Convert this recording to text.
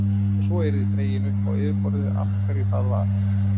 Og svo yrði dregið upp á yfirborðið af hverju það var.